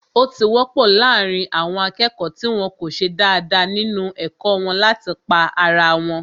Ó ti wọ́pọ̀ láàrín àwọn akẹ́kọ̀ọ́ tí wọ́n ko ṣe dáadáa nínu ẹ̀kọ́ wọn láti pá ara wọn